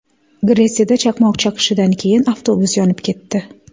Gretsiyada chaqmoq chaqishidan keyin avtobus yonib ketdi.